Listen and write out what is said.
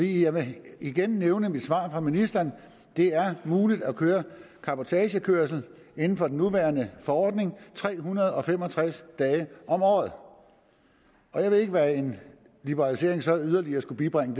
jeg vil igen nævne svaret fra ministeren det er muligt at køre cabotagekørsel inden for den nuværende forordning tre hundrede og fem og tres dage om året jeg ved ikke hvad en liberalisering så yderligere skulle bibringe